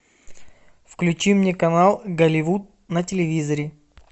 включи мне канал голливуд на телевизоре